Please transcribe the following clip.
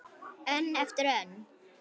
Önn eftir önn.